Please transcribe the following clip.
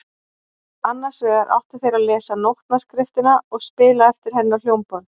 Annars vegar áttu þeir að lesa nótnaskriftina og spila eftir henni á hljómborð.